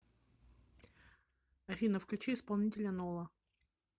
афина включи исполнителя нола